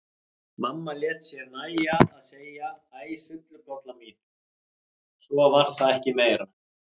Mamma lét sér nægja að segja: Æ sullukolla mín og svo var það ekki meira.